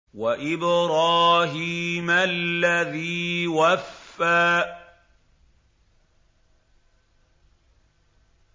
وَإِبْرَاهِيمَ الَّذِي وَفَّىٰ